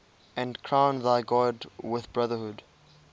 and crown thy good with brotherhood